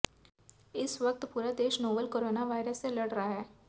इस वक्त पूरा देश नोवल कोरोना वायरस से लड़ रहा है